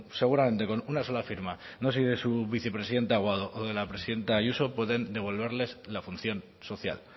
seguramente con una sola firma no sé si de su vicepresidente aguado o de la presidenta ayuso pueden devolverles la función social